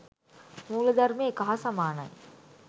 මූලධර්මය එක හා සමානයි.